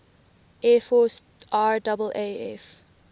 air force raaf